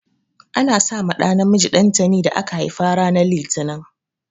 Ana sa ma ɗa namiji dantani da aka haifa ran litani.